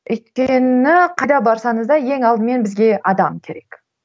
өйткені қайда барсаңыз да ең алдымен бізге адам керек